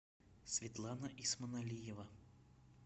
светлана исманалиева